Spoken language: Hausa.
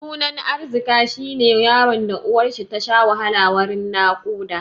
Sunan Arzika shi ne yaron da uwarshi tasha wahala wurin naƙuda.